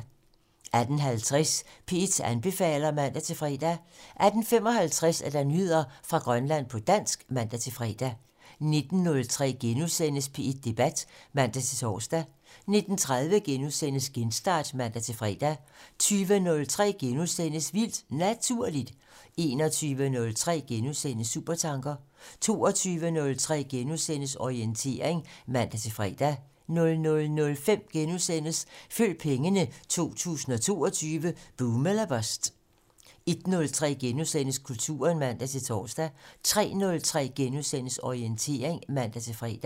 18:50: P1 anbefaler (man-fre) 18:55: Nyheder fra Grønland på dansk (man-fre) 19:03: P1 Debat *(man-tor) 19:30: Genstart *(man-fre) 20:03: Vildt Naturligt * 21:03: Supertanker * 22:03: Orientering *(man-fre) 00:05: Følg pengene: 2022 - boom eller bust * 01:03: Kulturen *(man-tor) 03:03: Orientering *(man-fre)